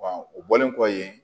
o bɔlen kɔfɛ yen